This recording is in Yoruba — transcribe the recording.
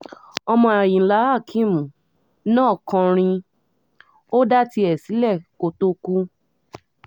ọmọ àyìnlá akeem náà kọrin ó dá tiẹ̀ sílẹ̀ kó tóó kú